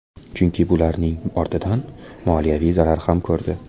Chunki bularning ortidan moliyaviy zarar ham ko‘rdi.